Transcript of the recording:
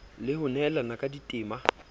le ho nehelana ka ditema